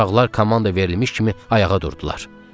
Uşaqlar komanda verilmiş kimi ayağa durdular.